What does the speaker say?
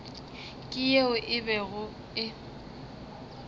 ke yeo e bego e